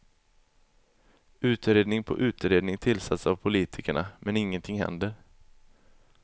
Utredning på utredning tillsätts av politikerna men ingenting händer.